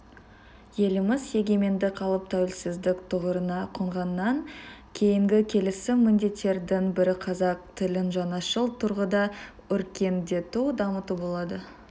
еліміз егемендік алып тәуелсіздік тұғырына қонғаннан кейінгі келеcі міндеттердің бірі қазақ тілін жаңашыл тұрғыда өркендету дамыту болды